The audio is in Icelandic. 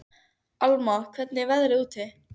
Alma, hvernig er veðrið úti?